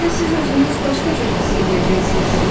Bəlkə də siz özünüz başqa cür hiss eləyəcəksiz.